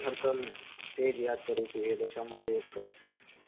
કરું છું, એ દશામાં યાદ કરો